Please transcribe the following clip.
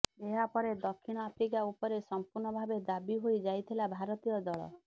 ଏହାପରେ ଦକ୍ଷିଣ ଆଫ୍ରିକା ଉପରେ ସମ୍ପୂର୍ଣ୍ଣ ଭାବେ ହାବି ହୋଇ ଯାଇଥିଲା ଭାରତୀୟ ଦଳ